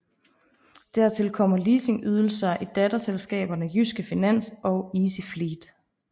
Dertil kommer leasingydelser i datterselskaberne Jyske Finans og Easyfleet